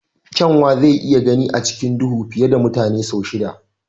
Kyanwa zai iya gani a cikin duhu fiye da mutane sau shida.